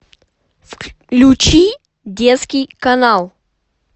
включи детский канал